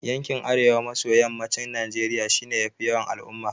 Yankin Arewa maso Yammacin Najeriya shi ya fi yawan al'umma.